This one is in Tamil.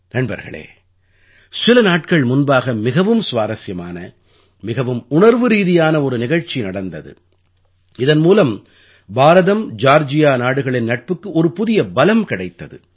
நண்பர்களே சில நாட்கள் முன்பாக மிகவும் சுவாரசியமான மிகவும் உணர்வுரீதியான ஒரு நிகழ்ச்சி நடந்தது இதன் மூலம் பாரதம்ஜார்ஜியா நாடுகளின் நட்புக்கு ஒரு புதிய பலம் கிடைத்தது